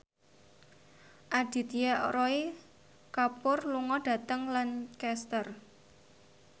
Aditya Roy Kapoor lunga dhateng Lancaster